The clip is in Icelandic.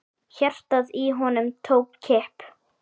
Hjartað í honum tók kipp.